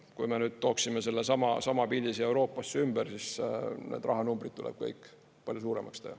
Kui me nüüd tooksime sellesama pildi siia Euroopasse ümber, siis need rahanumbrid tuleb kõik palju suuremaks teha.